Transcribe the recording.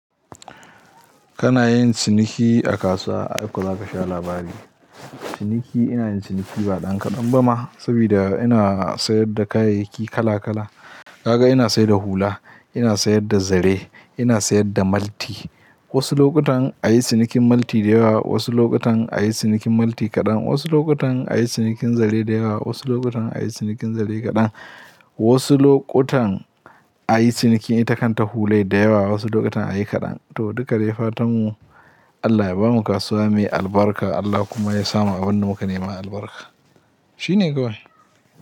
Kana yin ciniki a kasuwa, ai kuwa ka sha labari. Ciniki, ina yin ciniki ba ɗan kaɗan ba ma saboda ina sayar da kayayyaki kala kala. Kaga ina sayar da hula, ina sayar da zare, ina sayar da malti. Wasu lokutan a yi cinikin malti dayawa, wasu lokutan a yi cinikin malti kaɗan, wasu lokutan a yi cinikin zare dayawa, wasu lokutan a yi cinikin zare kaɗan. Wasu lokutan a yi ciniki itakan ta hulai dayawa, wasu lokutan a yi kaɗan. To, duka dai fatan mu Allah ya bamu kasuwa mai albarka, Allah kuma ya samu abin da muka nema albarka. Shine kawai.